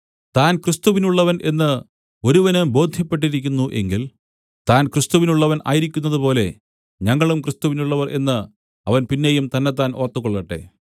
താൻ ക്രിസ്തുവിനുള്ളവൻ എന്ന് ഒരുവന് ബോദ്ധ്യപ്പെട്ടിരിക്കുന്നു എങ്കിൽ താൻ ക്രിസ്തുവിനുള്ളവൻ ആയിരിക്കുന്നതുപോലെ ഞങ്ങളും ക്രിസ്തുവിനുള്ളവർ എന്ന് അവൻ പിന്നെയും തന്നെത്താൻ ഓർത്തുകൊള്ളട്ടെ